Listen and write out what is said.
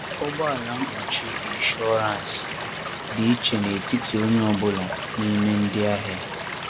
Ụ̀gbọ̀álà mkpuchi ínsúránsị dị iche n’etíti onye ọ̀ bụ́la n’í mé ndị ahịa.